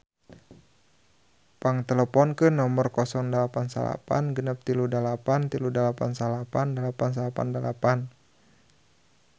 Pang teleponkeun nomer 089638389898